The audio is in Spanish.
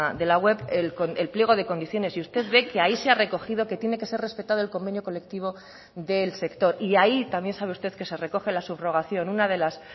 de la web el pliego de condiciones y usted ve que ahí se ha recogido que tiene que ser respetado el convenio colectivo del sector y ahí también sabe usted que se recoge la subrogación una de las